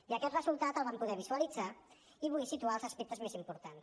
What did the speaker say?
i aquest resultat el vam poder visualitzar i vull situar ne els aspectes més importants